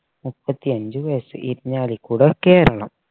മുപ്പത്തി അഞ്ച് വയസ്സ് ഇരിഞ്ഞാലിക്കുട കേരളം